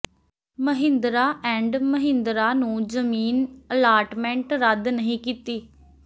Mahindra and Mahindra ਨੂੰ ਜ਼ਮੀਨ allotment ਰੱਦ ਨਹੀਂ ਕੀਤੀ